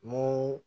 N ko